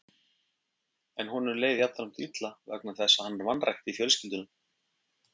En honum leið jafnframt illa vegna þess að hann vanrækti fjölskylduna.